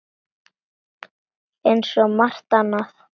Eins og svo margt annað.